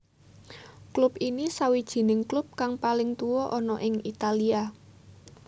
Klub ini sawijing klub kang paling tuwa ana ing Italia